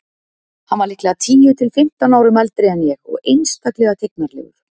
Hann var líklega tíu til fimmtán árum eldri en ég og einstaklega tignarlegur.